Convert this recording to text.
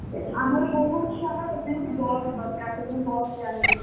ଆମର ବହୁତ ଛୁଆ ନା ସେଥିପାଇଁ ଗୋଟେ bus ଦରକାର ସେଥିପାଇଁ ଆମେ bus ରେ ଆମେ ଯିବୁ